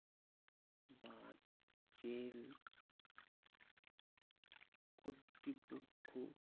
বা জেল কর্তৃপক্ষ